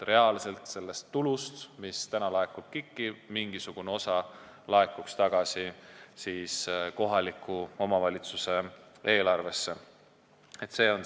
Sellest tulust, mis praegu KIK-i laekub, peaks mingisugune osa reaalselt kohaliku omavalitsuse eelarvesse tagasi laekuma.